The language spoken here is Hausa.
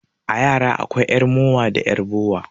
A yara akwai 'yar mowa da 'yar bora.